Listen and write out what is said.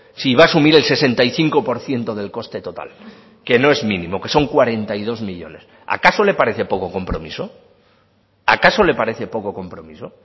si va a asumir el sesenta y cinco por ciento del coste total que no es mínimo que son cuarenta y dos millónes acaso le parece poco compromiso acaso le parece poco compromiso